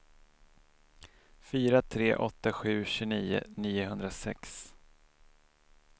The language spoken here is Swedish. fyra tre åtta sju tjugonio niohundrasex